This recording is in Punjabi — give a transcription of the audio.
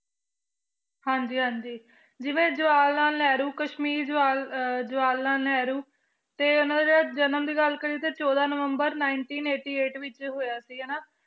ਹਾਂਜੀ ਹਾਂਜੀ ਜਿਵੇਂ ਜਵਾਹਰ ਲਾਲ ਨਹਿਰੂ ਕਸ਼ਮੀਰ ਜਵਾ~ ਅਹ ਜਵਾਹਰ ਲਾਲ ਨਹਿਰੂ ਤੇ ਉਹਨਾਂ ਦੇ ਜਨਮ ਦੀ ਗੱਲ ਕਰੀਏ ਤੇ ਚੌਦਾਂ ਨਵੰਬਰ nineteen eighty-eight ਵਿੱਚ ਹੋਇਆ ਸੀ ਹਨਾ।